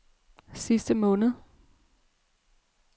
sidste måned